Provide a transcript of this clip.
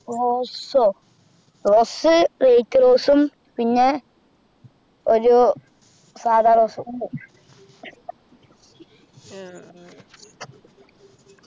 Rose ഓ Rose light Rose ഉം പിന്നെ ഒരു സാദാ Rose ഉം ഉണ്ട്